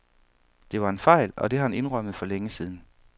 Det var en fejl, og det har han indrømmet for længe siden.